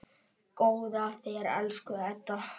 Góða ferð, elsku Edda.